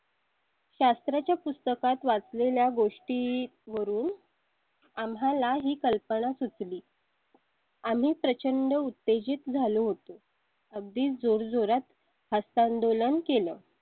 शास्त्राच्या पुस्तकात वाचलेल्या गोष्टी वरून. आम्हाला ही कल्पना सुचली. आम्ही प्रचंड उत्तेजित झालो होतो. अगदी जोर जोरात हस्तांदोलन केलं.